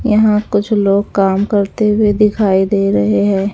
यहां कुछ लोग काम करते हुए दिखाई दे रहे हैं।